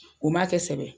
O ma kɛ sɛbɛ ye